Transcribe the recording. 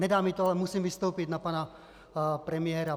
Nedá mi to, ale musím vystoupit na pana premiéra.